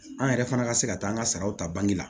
An yɛrɛ fana ka se ka taa an ka salaw ta bange la